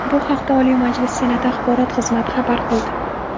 Bu haqda Oliy Majlis Senati axborot xizmati xabar qildi .